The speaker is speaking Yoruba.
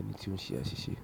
ẹni ti oun se asise.